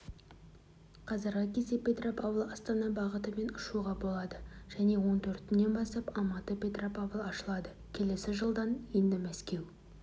қазіргі кезде петропавл-астана бағытымен ұшуға болады және он төртінен бастап алматы-петропавл ашылады келесі жылдан енді мәскеу